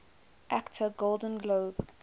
actor golden globe